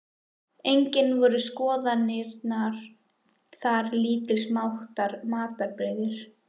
Einnig voru skoðaðar þar lítils háttar matarbirgðir.